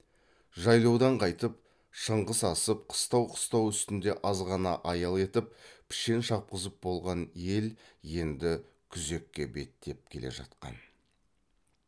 жайлаудан қайтып шыңғыс асып қыстау қыстау үстінде аз ғана аял етіп пішен шапқызып болған ел енді күзекке беттеп келе жатқан